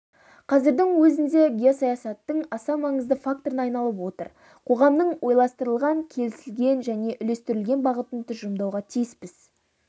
қазірдің өзінде геосаясаттың аса маңызды факторына айналып отыр қоғамның ойластырылған келісілген және үйлестірілген бағытын тұжырымдауға тиіспіз